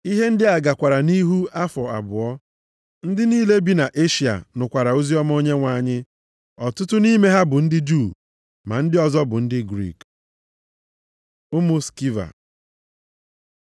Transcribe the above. Ihe ndị a gakwara nʼihu afọ abụọ. Ndị niile bi na Eshịa nụkwara oziọma Onyenwe anyị. Ọtụtụ nʼime ha bụ ndị Juu, ma ndị ọzọ bụ ndị Griik. Ụmụ Skiva